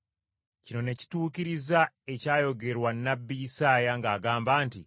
Kino ne kituukiriza ekyayogerwa nnabbi Isaaya ng’agamba nti,